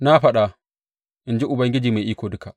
Na faɗa, in ji Ubangiji Mai Iko Duka.’